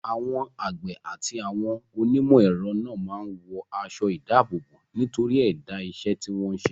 Àwọn àgbẹ̀ àti àwọn onímọ̀-ẹ̀rọ náà máa ń wọ aṣọ-ìdáàbòbò nítorí ẹ̀dá iṣẹ́ tí wọ́n ń ṣe.